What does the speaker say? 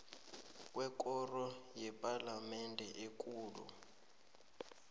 kwekoro yepalamende ekulu